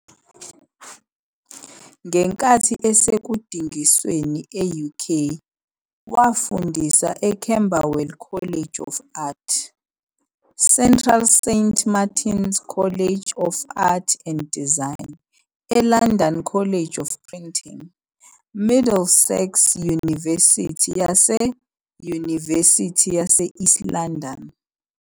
Ngenkathi esekudingisweni e-UK, wafundisa eCamberwell College of Art, Central Saint Martins College of Art and Design, eLondon College of Printing, Middlesex Yunivesithi nase- Yunivesithi yase East London.